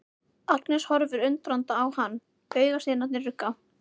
Agnes horfir undrandi á hann, augasteinarnir rugga.